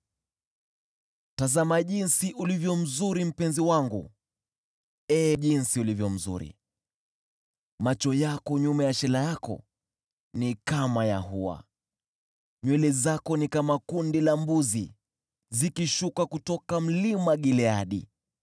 Tazama jinsi ulivyo mzuri, mpenzi wangu! Ee, jinsi ulivyo mzuri! Macho yako nyuma ya shela yako ni kama ya hua. Nywele zako ni kama kundi la mbuzi zikishuka kutoka Mlima Gileadi.